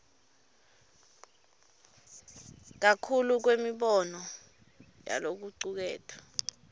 kakhulu kwemibono yalokucuketfwe